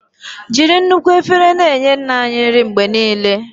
Jiri nnukwu efere na-enye Nna anyị nri mgbe niile.